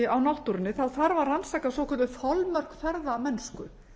á náttúrunni þá þarf að rannsaka svokölluð þolmörk ferðamennsku